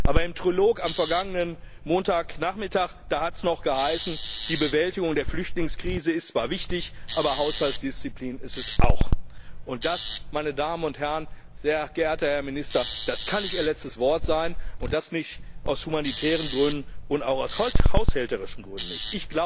Aber im Trilog am vergangenen Montagnachmittag hat es noch geheißen Die Bewältigung der Flüchtlingskrise ist zwar wichtig, aber Haushaltsdisziplin ist es auch. Und das, meine Damen und Herren, sehr geehrter Herr Minister, kann nicht Ihr letztes Wort sein, und zwar aus humanitären Gründen nicht, und auch aus haushälterischen Gründen nicht.